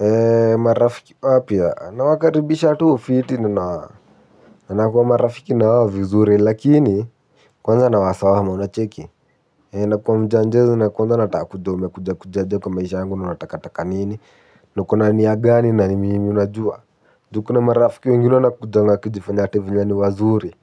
Eee marafiki wapya nawakaribisha tu fiti nina nakua marafiki na wao vizuri lakini kwanza nawasawama unacheki. Eee nakuwa mjanjezi na kwanza nataka kujua umekuja kuja kuja aje kwa maisha yangu na unataka taka nini. Na uko na nia gani na ni mimi unajua juu kuna marafiki wengine wanakujanga wakijifanya ati venye ni wazuri